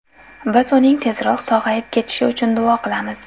Biz uning tezroq sog‘ayib ketishi uchun duo qilamiz.